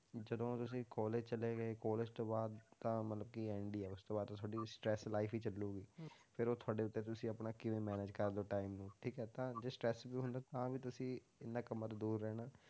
ਜਦੋਂ ਤੁਸੀਂ college ਚਲੇ ਗਏ college ਤੋਂ ਬਾਅਦ ਤਾਂ ਮਤਲਬ ਕਿ end ਹੀ ਆ ਉਸ ਤੋਂ ਬਾਅਦ ਤਾਂ ਤੁਹਾਡੀ stress life ਹੀ ਚੱਲੇਗੀ ਫਿਰ ਉਹ ਤੁਹਾਡੇ ਉੱਤੇ ਆ ਤੁਸੀਂ ਆਪਣਾ ਕਿਵੇਂ manage ਕਰਦੇ ਹੋ time ਨੂੰ, ਠੀਕ ਹੈ ਤਾਂ ਜੇ stress ਵੀ ਹੁੰਦਾ ਤਾਂ ਤੁਸੀਂ ਇਹਨਾਂ ਕੰਮਾਂ ਤੋਂ ਦੂਰ ਰਹਿਣਾ ਹੈ,